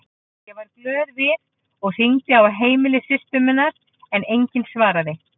Ég varð glöð við og hringdi á heimili systur minnar en enginn svaraði.